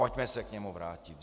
Pojďme se k němu vrátit.